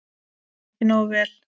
Ekki nógu vel.